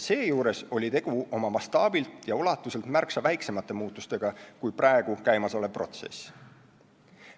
Seejuures oli tegu mastaabilt ja ulatuselt märksa väiksemate muutustega kui praegu käimas olev protsess.